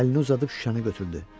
Əlini uzadıb şüşəni götürdü.